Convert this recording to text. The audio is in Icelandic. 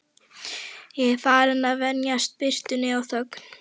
Ég er farinn að venjast birtunni og þögn